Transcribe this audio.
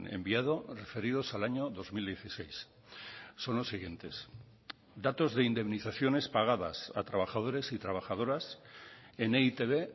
enviado referidos al año dos mil dieciséis son los siguientes datos de indemnizaciones pagadas a trabajadores y trabajadoras en e i te be